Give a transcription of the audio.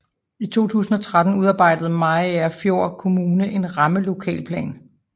I 2013 udarbejdede Mariagerfjord Kommune en rammelokalplan